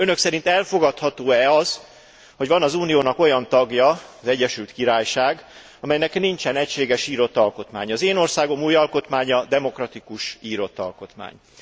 Önök szerint elfogadható e az, hogy van az Uniónak olyan tagja, az Egyesült Királyság, amelynek nincsen egységes írott alkotmánya? Az én országom új alkotmánya demokratikus, írott alkotmány.